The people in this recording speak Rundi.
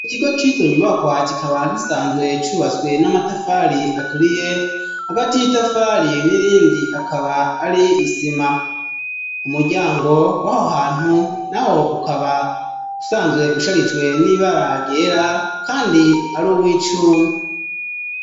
Ikigo c'izo nyubakwa, kikaba gisanzwe cubatswe n'amatafali aturiye, hagati y'itafali n'irindi hakaba hari isima ,umuryango w'aho hantu naho, ukaba usanzwe usharijwe n'ibara ryera kandi ari uw'icuma.